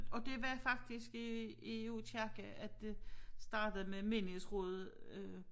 Og det var faktisk i i Aakirke at det startede med menighedsrådet øh